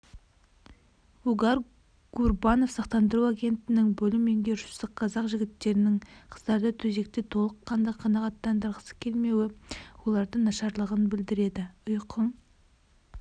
вугар гурбанов сақтандыру агенттігінің бөлім меңгерушісі қазақ жігіттерінің қыздарды төсекте толыққанды қанағаттандырғысыкелмеуі олардың нашарлығын білдіреді ұйқың